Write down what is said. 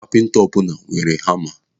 Kapinta ọbụla nwere hama.